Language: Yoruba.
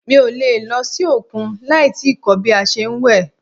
Mi o le lọ sí òkun láì tíì kọ́ bí a ṣe ń wẹ̀.